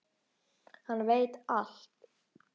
Hann veit allt!